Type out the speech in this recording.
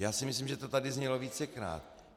Já si myslím, že to tady znělo vícekrát.